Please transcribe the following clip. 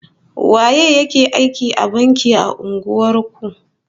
Waye ya ke aiki a banki a unguwar ku?